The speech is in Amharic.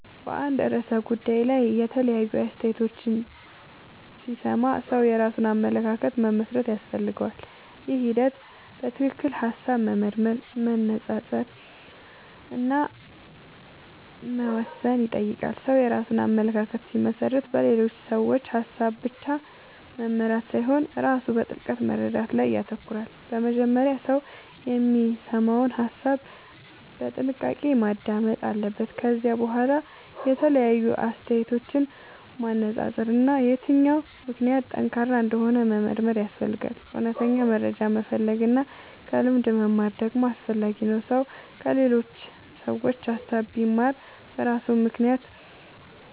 በአንድ ርዕሰ ጉዳይ ላይ የተለያዩ አስተያየቶችን ሲሰማ ሰው የራሱን አመለካከት መመስረት ያስፈልገዋል። ይህ ሂደት በትክክል ሐሳብ መመርመር፣ መነጻጸር እና መወሰን ይጠይቃል። ሰው የራሱን አመለካከት ሲመሰርት በሌሎች ሰዎች ሐሳብ ብቻ መመራት ሳይሆን ራሱ በጥልቅ መረዳት ላይ ይተኮራል። መጀመሪያ ሰው የሚሰማውን ሐሳብ በጥንቃቄ ማዳመጥ አለበት። ከዚያ በኋላ የተለያዩ አስተያየቶችን ማነጻጸር እና የትኛው ምክንያት ጠንካራ እንደሆነ መመርመር ያስፈልጋል። እውነተኛ መረጃ መፈለግ እና ከልምድ መማር ደግሞ አስፈላጊ ነው። ሰው ከሌሎች ሰዎች ሐሳብ ቢማርም በራሱ ምክንያት